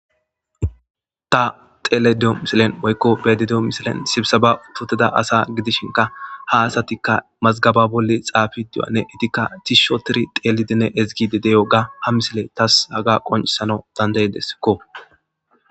Ta xeele de'o misilen woykko be'ayida de'o misilen sibisaba uttida asa gidishinka ha asatikka mazgaba bolli xaafidi de'iyohqnne etikka tishshi oottiri teelidinne ezigidi de'iyoga ha misile tas haga qoniccisana dandayeskko.